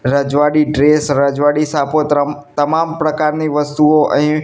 રજવાડી ડ્રેસ રજવાડી સાપોતરમ તમામ પ્રકારની વસ્તુઓ અહીં--